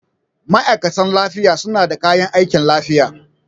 Ma'aikatan lafiya suna da kayan aikin lafiya.